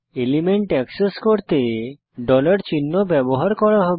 element access করতে চিহ্ন ব্যবহার করা হবে